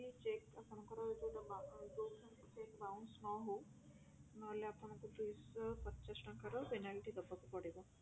କି check ଆପଣଙ୍କର ଯୋଊଟା ଯଉ check bounce ନହଉ ନହେଲେ ଆପଣଙ୍କୁ ଦୁଇ ଶହ ପଚାଶ ଟଙ୍କାର penalty ଦବାକୁ ପଡିବ